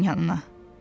Falinanın yanına.